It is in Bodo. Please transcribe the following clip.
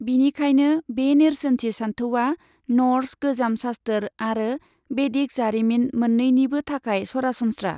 बिनिखायनो बे नेरसोनथि सानथौआ नर्स गोजाम सास्थोर आरो बेदिक जारिमिन मोन्नैनिबो थाखाय सरासनस्रा।